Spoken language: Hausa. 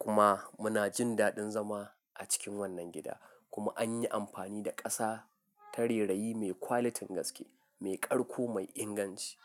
Kuma muna jin daɗin zama a cikin wannan gida. Kuma an yi amfani da ƙasa ta rera'i mai quality gaske, mai ƙarko mai inganci.